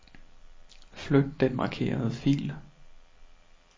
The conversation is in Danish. Flyt den markerede fil.